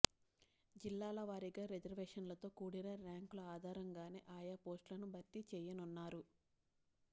జిల్లాల వారీగా రిజర్వేషన్లతో కూడిన ర్యాంకుల ఆధారంగానే ఆయా పోస్టులను భర్తీ చేయనున్నారు